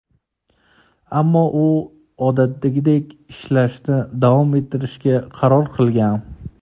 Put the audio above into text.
Ammo u odatdagidek ishlashni davom ettirishga qaror qilgan.